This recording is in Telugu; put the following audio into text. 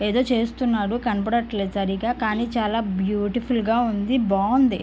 ఏదో చేస్తున్నాడు కనపడట్లేదు సరిగ్గా కానీ చాలా బీయూటిఫుల్ గ ఉంది బాగుంది